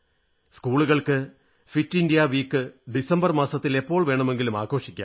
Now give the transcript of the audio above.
സ്കൂളുകൾക്ക് fit India week December മാസത്തിൽ എപ്പോൾ വേണമെങ്കിലും ആഘോഷിക്കാം